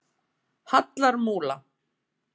Hallarmúla